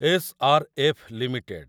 S R F limited